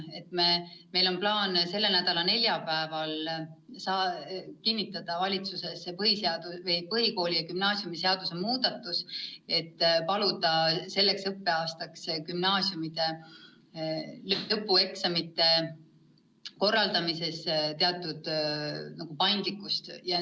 Meil on plaan selle nädala neljapäeval kinnitada valitsuses põhikooli- ja gümnaasiumiseaduse muudatus, et paluda teilt selleks õppeaastaks gümnaasiumide lõpueksamite korraldamisel teatud paindlikkust.